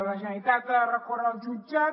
la generalitat ha de recórrer al jutjat